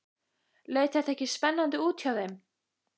Leit þetta ekki spennandi út hjá þeim?